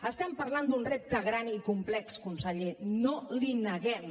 estem parlant d’un repte gran i complex conseller no l’hi neguem